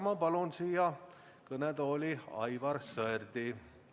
Ma palun siia kõnetooli Aivar Sõerdi.